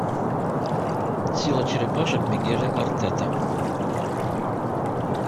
сила черепашек мигеля артета